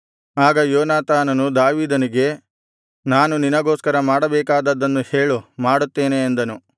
ಆಗ ಯೋನಾತಾನನು ದಾವೀದನಿಗೆ ನಾನು ನಿನಗೋಸ್ಕರ ಮಾಡಬೇಕಾದದ್ದನ್ನು ಹೇಳು ಮಾಡುತ್ತೇನೆ ಅಂದನು